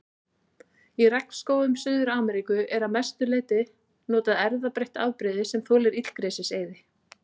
Í regnskógum Suður-Ameríku er að mestu notað erfðabreytt afbrigði sem þolir illgresiseyði.